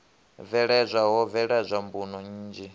bveledzwa ho bveledzwa mbuno nnzhi